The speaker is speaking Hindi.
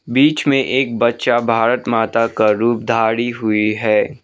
बीच में एक बच्चा भारत माता का रूप धारी हुई है।